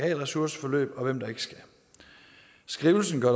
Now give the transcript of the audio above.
et ressourceforløb og hvem der ikke skal skrivelsen gør